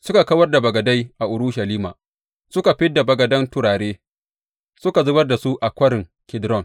Suka kawar da bagadai a Urushalima suka fid da bagadan turare suka zubar da su a Kwarin Kidron.